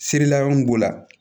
Feere la mun b'o la